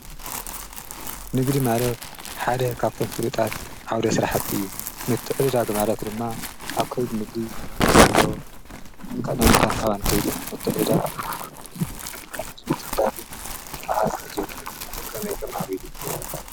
ንግዲ ማለት ሓደ ካብቶም ፍሉጣት ዓውደ ስራሕቲ እዩ። ምትዕድዳግ ማለት ድማ ኣብ ከይዲ ንግዲ ዘሎ ናይ እንካን ሃባን ከይዲ እዩ:: ምትዕድዳግ ከዓ ከመይ የማዕብሉ?